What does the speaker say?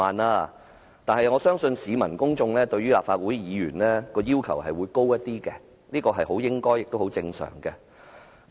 可是，我相信市民和公眾對於立法會議員的要求會較高，這是很應該也很正常的事情。